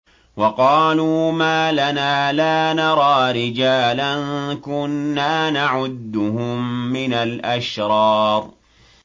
وَقَالُوا مَا لَنَا لَا نَرَىٰ رِجَالًا كُنَّا نَعُدُّهُم مِّنَ الْأَشْرَارِ